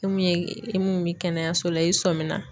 E mun ye, i mun bɛ kɛnɛyaso la i sɔmi na.